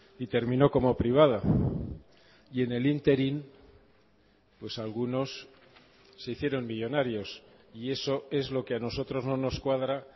y terminó como privada y en el ínterin pues algunos se hicieron millónarios y eso es lo que a nosotros no nos cuadra